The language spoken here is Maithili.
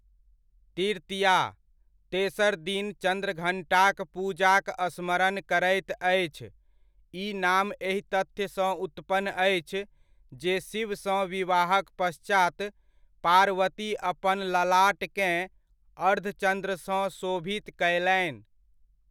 तृतीया, तेसर दिन चन्द्रघण्टाक पूजाक स्मरण करैत अछि ई नाम एहि तथ्यसँ उत्पन्न अछि जे शिवसँ विवाहक पश्चात, पार्वती अपन ललाटकेँ अर्धचन्द्रसँ शोभित कयलनि।